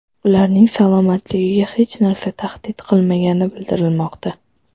Ularning salomatligiga hech narsa tahdid qilmagani bildirilmoqda.